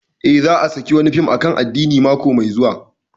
Eh, za a saki wani fim akan addini mako mai zuwa